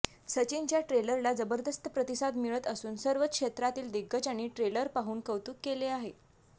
सचिनच्या ट्रेलरला जबरदस्त प्रतिसाद मिळत असून सर्वच क्षेत्रातील दिग्गजांनी ट्रेलर पाहून कौतूक केले आहे